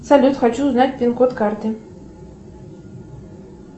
салют хочу узнать пин код карты